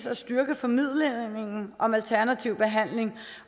at styrke formidlingen om alternativ behandling